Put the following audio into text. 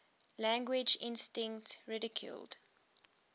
language instinct ridiculed